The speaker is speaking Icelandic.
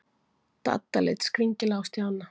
Dadda leit skringilega á Stjána.